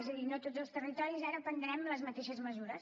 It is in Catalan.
és a dir no tots els territoris ara prendrem les mateixes mesures